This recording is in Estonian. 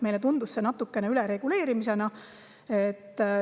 Meile tundus see natuke ülereguleerimisena.